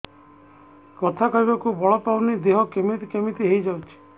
କଥା କହିବାକୁ ବଳ ପାଉନି ଦେହ କେମିତି କେମିତି ହେଇଯାଉଛି